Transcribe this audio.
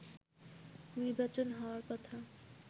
নির্বাচন হওয়ার কথা